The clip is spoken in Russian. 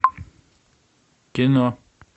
кино